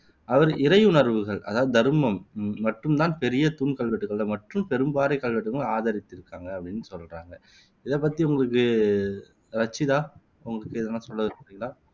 அவர் இறையுணர்வுகள் அதாவது தருமம் மட்டும் தான் பெரிய தூண் கல்வெட்டுக்கள் மற்றும் பெரும் பாறைக் கல்வெட்டுகளில் ஆதரித்து இருக்காங்க அப்படின்னு சொல்றாங்க. இதை அத்தி உங்களுக்கு ரச்சிதா உங்களுக்கு எதனா சொல்ல விரும்புறீங்களா